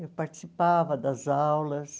Eu participava das aulas.